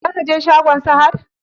Za ka je shagon Sahad?